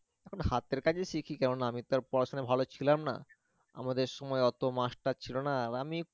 এখন হাতের কাজই শিখেছি কারণ আমি তো আর পড়াশোনাই ছিলাম ভালো ছিলাম না, আমাদের সময় অত master ছিল না আহ আমি